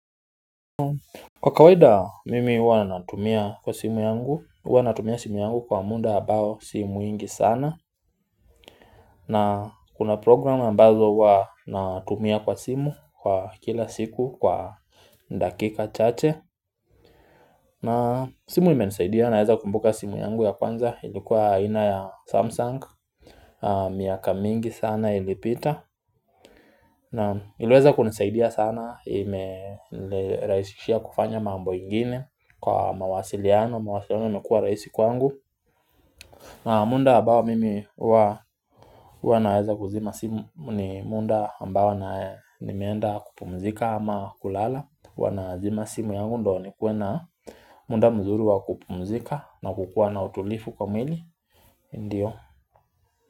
Kwa kawaida mimi huwa natumia kwa simu yangu huwa natumia simu yangu kwa muda ambao si mwingi sana na kuna programu mbazo huwa natumia kwa simu kwa kila siku kwa dakika chache na simu imenisaidia naweza kumbuka simu yangu ya kwanza ilikuwa aina ya Samsung miaka mingi sana ilipita na iliweza kunisaidia sana imenirahisishia kufanya mambo ingine kwa mawasiliano, mawasiliano imekua rahisi kwangu na muda ambao mimi huwa naweza kuzima simu ni muda ambao na nimeenda kupumzika ama kulala huwa nazima simu yangu ndio nikuwe na muda mzuri wa kupumzika na kukua na utulivu kwa mwili Ndiyo.